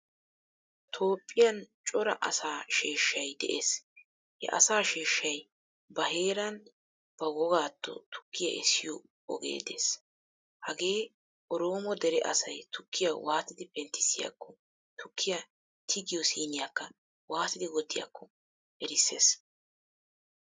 Toophphiyaan cora asaa sheeshay de'ees. He asaa sheeshaay ba heeran ba wogaato tukkiyaa essiyo ogee de'ees. Hage oromo dere asaay tukkiya waattidi penttisiyakko tukkiyaa tigiyo siiniyaka waattidi wottiyakko erisees.